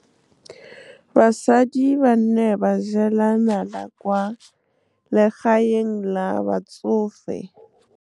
Basadi ba ne ba jela nala kwaa legaeng la batsofe. Basadi ba ne ba jela nala kwaa legaeng la batsofe.